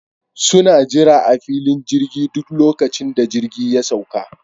Suna jira a filin jirgin duk lokacin da jirgi ya sauƙa